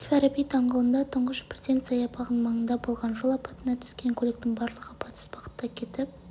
әл-фараби даңғылында тұңғыш президент саябағының маңында болған жол апатына түскен көліктің барлығы батыс бағытта кетіп